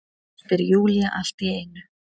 spyr Júlía allt í einu.